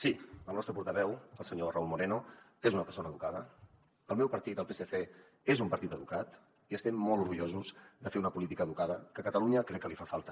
sí el nostre portaveu el senyor raúl moreno és una persona educada el meu partit el psc és un partit educat i estem molt orgullosos de fer una política educada que a catalunya crec que li fa falta